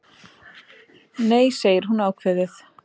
Nei, segir hún ákveðið.